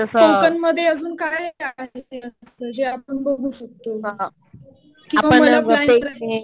कोकणमध्ये अजून काय काय आहे जे आपण बघू शकतो. किंवा मला प्लॅन